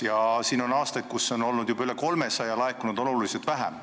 Ja siin on aasta, kus on loodetud alkoholiaktsiisi saada juba üle 300 miljoni, laekunud on oluliselt vähem.